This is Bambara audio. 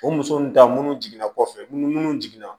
O muso nun ta minnu jiginna kɔfɛ minnu jiginna